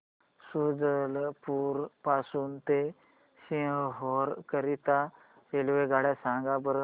शुजालपुर पासून ते सीहोर करीता रेल्वेगाड्या सांगा बरं